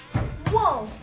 vó